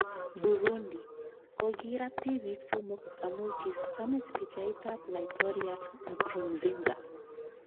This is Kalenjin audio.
Burundi: Kogirat tibiik somok amu kiisamis pichait ab laitoryat Nkurunzinza